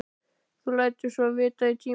Þú lætur svo vita í tíma.